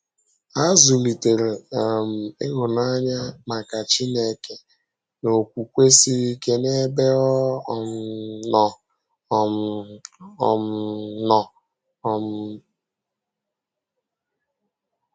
Ha zùlitèrè um ịhụ́nanya maka Chínèké na okwùkwè siri ike n’ebe ọ um nọ. um um nọ. um